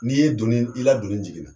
N'i ye donni, i la donni jigin na